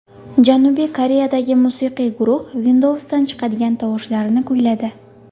Janubiy Koreyadagi musiqiy guruh Windows’dan chiqadigan tovushlarni kuyladi .